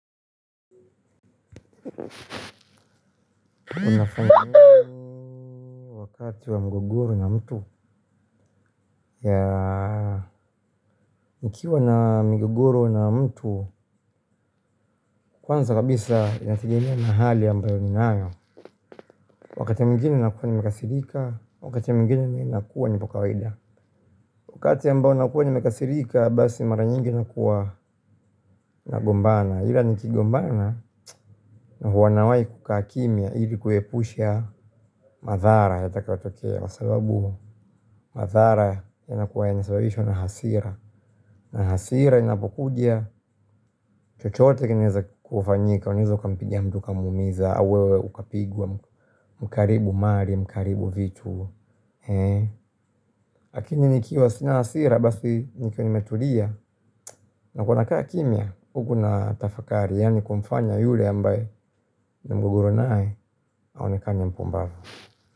Unafanya nini wakati wa mgogoro na mtu. Ya nikiwa na mgogoro na mtu kwanza kabisa inategemea mahali ambayo ninayo. Wakati ya mwingini nakuwa ni mikasirika. Wakati ya mwingini nakuwa nipokawaida. Wakati ambao nakuwa ni mikasirika. Basi mara nyingi nakuwa nagombana. Hila nikigombana huanawai kukakimya ili kuepusha madhara yatakayotokea kwa sababu madhara yanakuwa ya nasababishwa na hasira. Na hasira inapokuja, chochoote kineza kufanyika, uneza ukampigia mtu ukamumiza, awewe ukapigwa, mkaaribu mali, mkaaribu vitu. Ha kakini nikia wasina hasira, basi nikia nimetulia, na kuna kaa kimya, huku na tafakari, yani kumfanya yule ambaye ni mgogoro nae, aonekane mpumbavu.